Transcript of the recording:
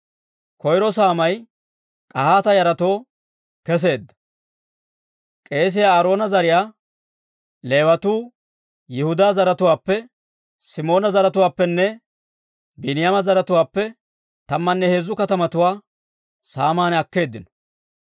Koyro saamay K'ahaata yaratoo kesseedda. K'eesiyaa Aaroona zariyaa Leewatuu Yihudaa zaratuwaappe, Simoona zaratuwaappenne Biiniyaama zaratuwaappe tammanne heezzu katamatuwaa saaman akkeeddino.